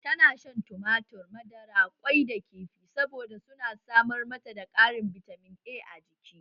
Ta na shan tumatur, madara, ƙwai da kifi saboda su na samar mata da Karin bitamin A a jiki